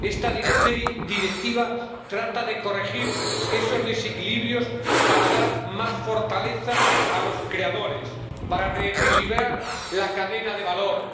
Esta Directiva trata de corregir esos desequilibrios para dar más fortaleza a los creadores, para reequilibrar la cadena de valor,